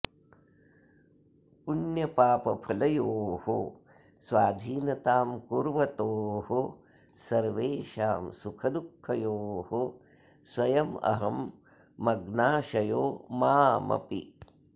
पुण्यपापफलयोः स्वाधीनतां कुर्वतोः सर्वेषां सुखदुःखयोः स्वयमहं मग्नाशयो मामपि